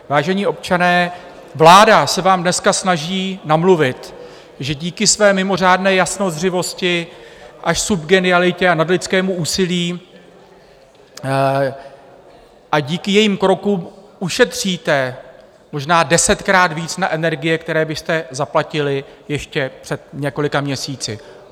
Vážení občané, vláda se vám dneska snaží namluvit, že díky své (?) mimořádné jasnozřivosti až subgenialitě a nadlidskému úsilí a díky jejím krokům ušetříte možná desetkrát víc na energie, které byste zaplatili ještě před několika měsíci.